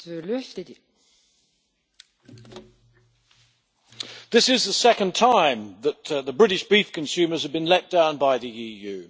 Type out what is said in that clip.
Madam President, this is the second time that the British beef consumers have been let down by the EU.